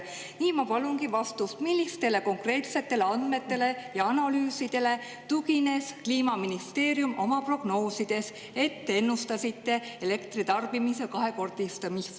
Nii ma palungi vastust, millistele konkreetsetele andmetele ja analüüsidele tugines ennustas Kliimaministeerium oma prognoosides elektritarbimise kahekordistamist.